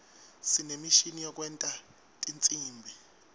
sinemishini yekwenta tinsimbi